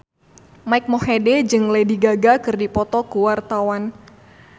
Mike Mohede jeung Lady Gaga keur dipoto ku wartawan